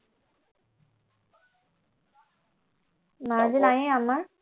নাৰ্জি নায়েই আমাৰ